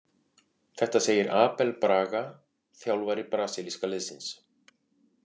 Þetta segir Abel Braga, þjálfari brasilíska liðsins.